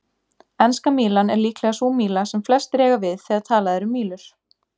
Enska mílan er líklega sú míla sem flestir eiga við þegar talað er um mílur.